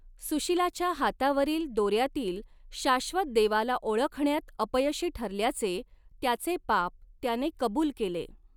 सुशीलाच्या हातावरील दोऱ्यातील शाश्वत देवाला ओळखण्यात अपयशी ठरल्याचे त्याचे पाप त्याने कबूल केले.